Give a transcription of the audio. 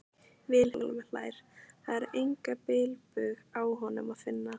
Vilhjálmur hlær, það er engan bilbug á honum að finna.